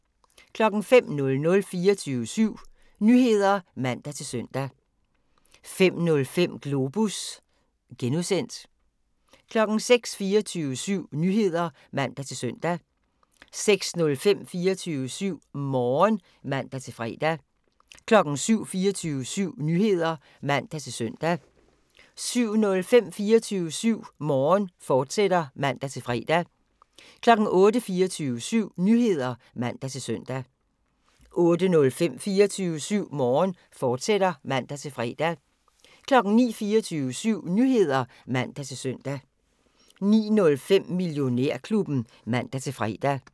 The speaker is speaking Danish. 05:00: 24syv Nyheder (man-søn) 05:05: Globus (G) 06:00: 24syv Nyheder (man-søn) 06:05: 24syv Morgen (man-fre) 07:00: 24syv Nyheder (man-søn) 07:05: 24syv Morgen, fortsat (man-fre) 08:00: 24syv Nyheder (man-søn) 08:05: 24syv Morgen, fortsat (man-fre) 09:00: 24syv Nyheder (man-søn) 09:05: Millionærklubben (man-fre)